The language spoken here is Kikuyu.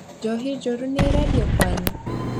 Njohi njũru nĩĩrendio kwanyu?